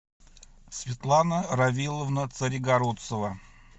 светлана равиловна царегородцева